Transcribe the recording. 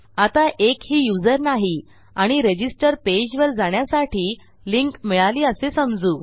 आता एकही युजर नाही आणि रजिस्टर पेजवर जाण्यासाठी लिंक मिळाली असे समजू